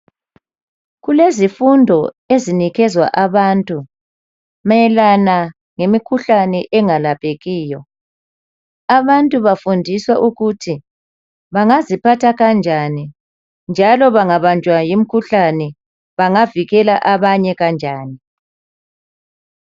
Kulezifundo ezinikezwa abantu mayelana ngemikhuhlane engalaphekiyo. Abantu bafundiswa ukuthi bangaziphatha kanjani njalo bangabanjwa yimikhuhlane bangavikela abanye kanjani.